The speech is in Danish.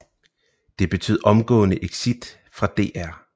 Det betød omgående exit fra DR